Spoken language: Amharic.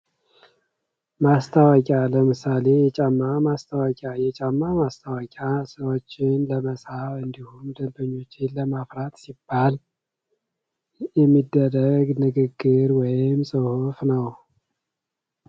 ማስታወቂያ ለምሳሌ ፦የጫማ ማስታወቂያ የጫማ ማስታወቂያ ሰዎችን ለመሳብ ፣እንድሁም ደንበኞችን ለማፍራት ሲባል የሚደረግ ንግግር ወይም ጽሑፍ ነው።